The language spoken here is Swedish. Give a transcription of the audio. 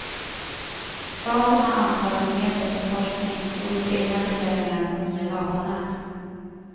Staten har anslagit medel för forskning och gjort egna beställningar på nya datanät.